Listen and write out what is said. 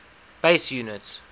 base units